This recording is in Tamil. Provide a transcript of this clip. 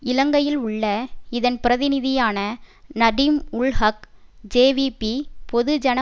இலங்கையில் உள்ள இதன் பிரதிநிதியான நடீம் உல் ஹக் ஜேவிபிபொதுஜன